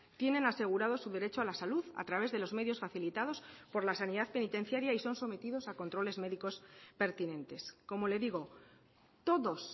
tienen asegurado su derecho a la salud a través de los medios facilitados por la sanidad penitenciaria y son sometidos a controles médicos pertinentes como le digo todos